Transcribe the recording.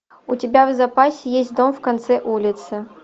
у тебя в запасе есть дом в конце улицы